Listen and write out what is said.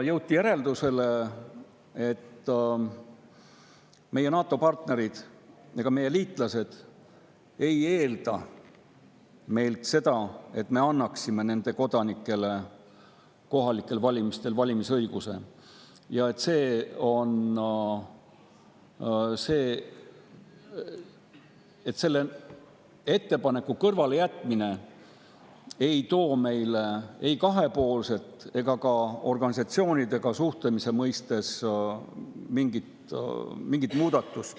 Jõuti järeldusele, et meie NATO‑partnerid, meie liitlased ei eelda meilt, et me annaksime nende kodanikele kohalikel valimistel valimisõiguse, ja selle ettepaneku kõrvalejätmine ei too meile kaasa ei kahepoolset muudatust ega ka mingit muudatust organisatsioonidega suhtlemise mõttes.